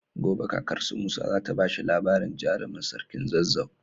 Gobe kakar su musa zata bashi labarin jarimin sarkin zazzau